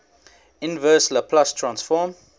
inverse laplace transform